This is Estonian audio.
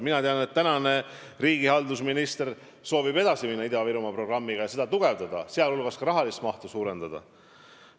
Ma tean, et riigihalduse minister soovib Ida-Virumaa programmiga edasi minna ja seda tugevdada, sh ka selle rahalist mahtu suurendada.